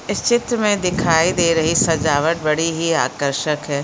इस चित्र में दिखाई दे रही सजावट बड़ी ही आकर्षक हैं।